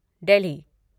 Delhi